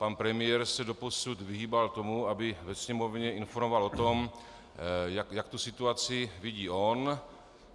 Pan premiér se doposud vyhýbal tomu, aby ve Sněmovně informoval o tom, jak tu situaci vidí on.